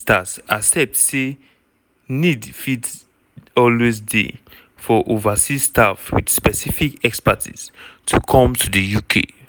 ministers accept say need fit always dey for overseas staff wit specific expertise to come to di uk.